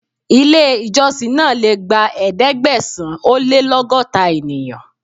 Ilé ìjọsìn náà le gba Ẹ̀ẹ́dẹ̀gbẹ̀sán-ó-lé-lọ́gọ́ta ènìyàn.